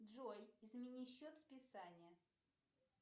джой измени счет списания